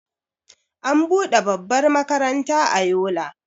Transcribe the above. an bude babbar makaranta a Yola